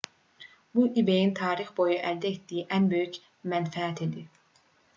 bu ebay-ın tarix boyu əldə etdiyi ən böyük mənfəət idi